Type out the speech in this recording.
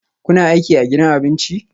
Kuna aiki a gidan abincin?